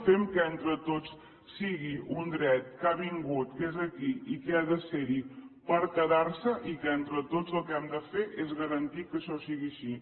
fem que entre tots sigui un dret que ha vingut que és aquí i que ha de ser hi per quedar s’hi i que entre tots el que hem de fer és garantir que això sigui així